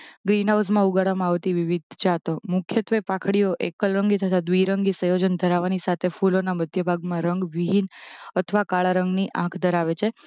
Green હાઉસમાં ઉગાડવામાં આવતી વિવિધ જાતો. મુખ્યત્વે પાંંખડિયો એકલરંગી તથા દ્વિરંગી સંયોજન ધરાવવાની સાથે ફૂલોના મધ્ય ભાગમાં રંગવિહીન અથવા કાળા રંગની આંંખ ધરાવે છે